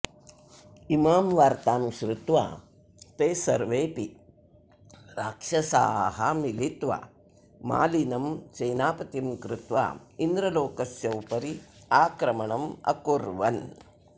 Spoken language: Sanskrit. इमां वार्तां श्रुत्वा ते सर्वेऽपि राक्षसाः मिलित्वा मालिनं सेनापतिं कृत्वा इन्द्रलोकस्य उपरि आक्रमणम् अकुर्वन्